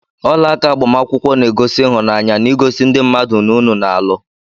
Ọlaaka agbamakwụkwọ na- egosi ịhụnanya na igosi ndị mmadụ na unu na- alụ